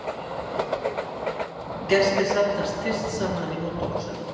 Gestir safnast fyrst saman í móttökusal.